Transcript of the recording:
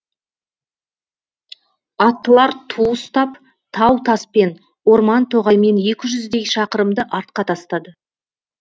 аттылар ту ұстап тау таспен орман тоғаймен екі жүздей шақырымды артқа тастады